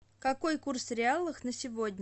какой курс реалов на сегодня